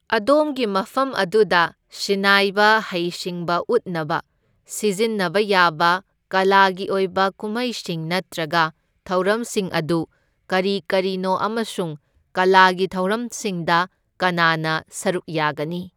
ꯑꯗꯣꯝꯒꯤ ꯃꯐꯝ ꯑꯗꯨꯗ ꯁꯤꯟꯅꯥꯏꯕ ꯍꯩꯁꯤꯡꯕ ꯎꯠꯅꯕ ꯁꯤꯖꯤꯟꯅꯕ ꯌꯥꯕ ꯀꯂꯥꯒꯤ ꯑꯣꯏꯕ ꯀꯨꯝꯍꯩꯁꯤꯡ ꯅꯠꯇ꯭ꯔꯒ ꯊꯧꯔꯝꯁꯤꯡ ꯑꯗꯨ ꯀꯔꯤ ꯀꯔꯤꯅꯣ ꯑꯃꯁꯨꯡ ꯀꯂꯥꯒꯤ ꯊꯧꯔꯝꯁꯤꯡꯗ ꯀꯅꯥꯅ ꯁꯔꯨꯛ ꯌꯥꯒꯅꯤ?